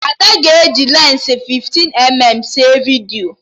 Ada ga-eji lensi 15mm sere vidiyo